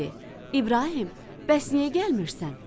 İbrahim, bəs niyə gəlmirsən?